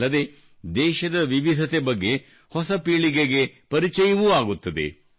ಅಲ್ಲದೆ ದೇಶದ ವಿವಿಧತೆ ಬಗ್ಗೆ ಹೊಸ ಪೀಳಿಗೆಗೆ ಪರಿಚಯವೂ ಆಗುತ್ತದೆ